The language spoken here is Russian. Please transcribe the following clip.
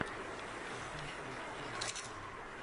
эфэм эй эйт первая серия